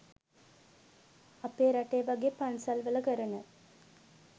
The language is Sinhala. අපේරටේ වගේ පන්සල්වල කරන